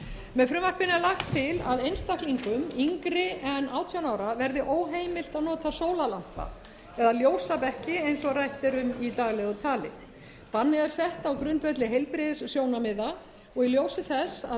með frumvarpinu er lagt til að einstaklingum yngri en átján ára verði ómehiilt að nota sólarlampa eða ljósabekki eins og rætt er um í daglegu tali bannið er sett á grundvelli heilbrigðissjónarmiða og í ljósi þess að